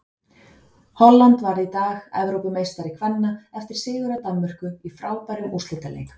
Holland varð í dag Evrópumeistari kvenna eftir sigur á Danmörku í frábærum úrslitaleik.